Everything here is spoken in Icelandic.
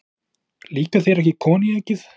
Líkar þér ekki koníakið?